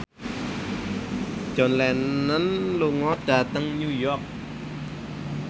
John Lennon lunga dhateng New York